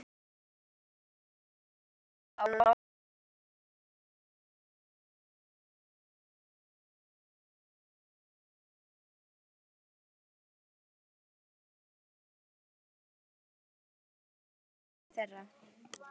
Nú skyggðu tilfinningamál nokkuð á samband þeirra.